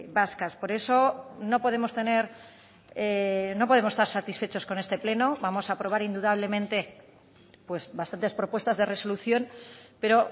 vascas por eso no podemos tener no podemos estar satisfechos con este pleno vamos a aprobar indudablemente pues bastantes propuestas de resolución pero